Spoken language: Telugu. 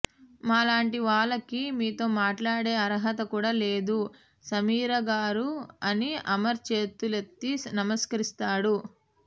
మా లాంటి వాళ్ళకి మీతో మాట్లాడే అర్హత కూడా లేదు సమీర గారు అని అమర్ చేతులెత్తి నమస్కరిస్తాడు